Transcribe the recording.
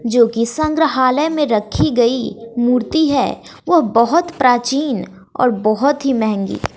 जो की संग्रहालय में रखी गई मूर्ति है वो बहोत प्राचीन और बहोत ही महंगी--